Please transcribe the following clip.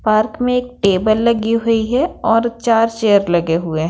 park में एक table लगी हुई हैं और चार चेयर लगे हुए--